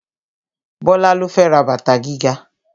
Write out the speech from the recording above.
Bọ́lá ló fẹ́ ra bàtà gíga